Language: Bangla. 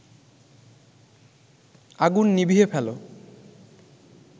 আগুন নিভিয়ে ফেল